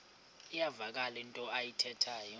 iyavakala into ayithethayo